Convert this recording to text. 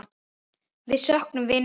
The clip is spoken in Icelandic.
Við söknum vinar í stað.